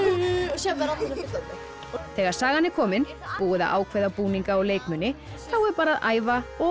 síðan verða allir fullorðnir þegar sagan er komin búið að ákveða búninga og leikmuni þá er bara að æfa og